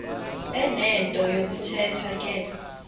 enento yokuthetha ke